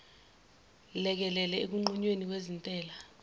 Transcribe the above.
lekelele ekunqunyweni kwezintela